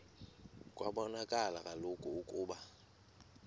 kwabonakala kaloku ukuba